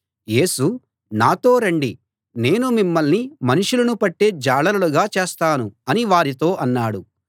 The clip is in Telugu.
యేసు నాతో రండి నేను మిమ్మల్ని మనుషులను పట్టే జాలరులుగా చేస్తాను అని వారితో అన్నాడు